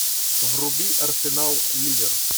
вруби арсенал ливер